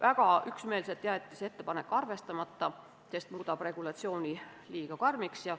See ettepanek jäeti väga üksmeelselt arvestamata, sest muudab regulatsiooni liiga karmiks.